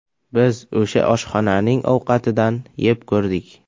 Biz o‘sha oshxonaning ovqatidan yeb ko‘rdik.